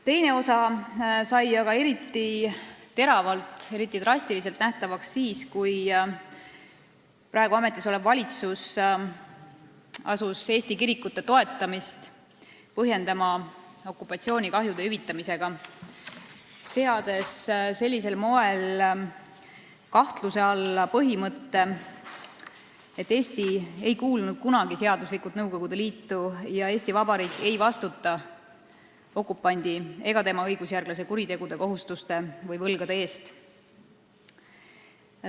Teine osa sai aga eriti teravalt, eriti drastiliselt nähtavaks siis, kui praegu ametis olev valitsus asus Eesti kirikute toetamist põhjendama okupatsioonikahjude hüvitamisega, seades sellisel moel kahtluse alla põhimõtte, et Eesti ei kuulunud kunagi seaduslikult Nõukogude Liitu ja Eesti Vabariik ei vastuta okupandi ega tema õigusjärglase kuritegude, kohustuste või võlgade eest.